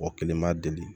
Mɔgɔ kelen ma deli